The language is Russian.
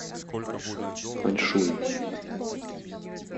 аньшунь